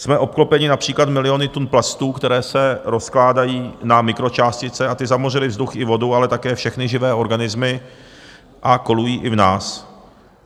Jsme obklopeni například miliony tun plastů, které se rozkládají na mikročástice, a ty zamořily vzduch i vodu, ale také všechny živé organismy a kolují i v nás.